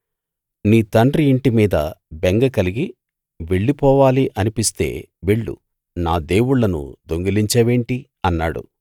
నీ తండ్రి ఇంటి మీద బెంగ కలిగి వెళ్ళిపోవాలనిపిస్తే వెళ్ళు నా దేవుళ్ళను దొంగిలించావేంటి అన్నాడు